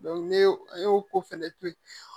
ne y'o e y'o ko fɛnɛ to yen